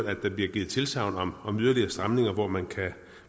at der blev givet tilsagn om yderligere stramninger hvor man kan